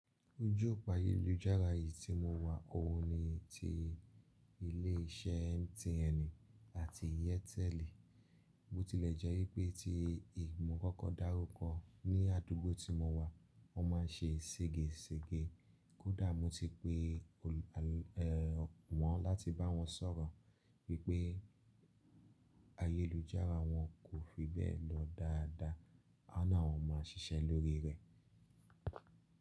Ojú òpá ayélujára yìí tí mo wà, òun ni ti ilé iṣẹ́ MTN àti Airtel. Ó tilẹ̀ jẹ́ pé tí ìmọ̀ kankan dárúkọ ní àdúgbò tí mo wà, wọ́n má ń ṣe sége sége. Kódà mo ti pe wọ́n láti bá wọn sọ̀rọ̀ wípé ayélujára wọn kò fi bẹ́ẹ̀ lọ dáadáa, wọ́n ni awon má ṣiṣẹ́ lórí rẹ̀.